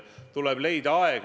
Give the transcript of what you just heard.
Aitäh!